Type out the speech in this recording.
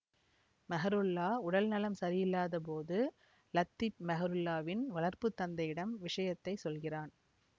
மெஹ்ருல்லா உடல் நலம் சரியிலாத போது லத்தீப் மெஹ்ருல்லாவின் வளர்ப்பு தந்தையிடம் விஷயத்தை சொல்கிறான்